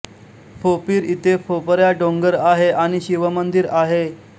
फोपिर इथे फोपऱ्या डोंगर आहे आणि शिव मंदिर आहे